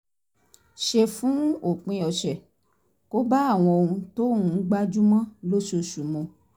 ṣe fún òpin ọ̀sẹ̀ kò bá àwọn ohun tóun ń gbájú mọ́ lóṣooṣù mu